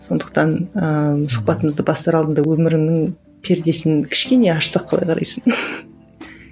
сондықтан ыыы сұхбатымызды бастар алдында өміріңнің пердесін кішкене ашсақ қалай қарайсың